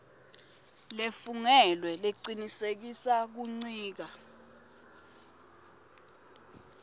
lefungelwe lecinisekisa kuncika